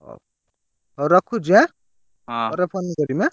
ହଉ ହଉ ରଖୁଛି ଏଁ ପରେ phone କରିମି ଏଁ।